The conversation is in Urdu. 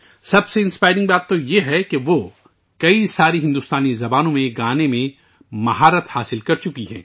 سب سے متاثر کن بات یہ ہے کہ اس نے کئی بھارتی زبانوں میں گانے میں مہارت حاصل کی ہے